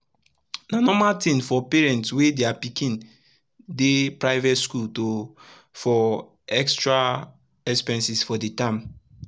na norma tin for parent wey dia pikin dey private skul to for extra expenses for d term